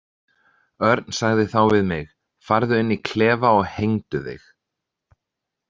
Örn sagði þá við mig: „Farðu inn í klefa og hengdu þig“.